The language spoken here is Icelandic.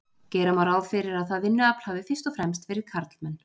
Gera má ráð fyrir að það vinnuafl hafi fyrst og fremst verið karlmenn.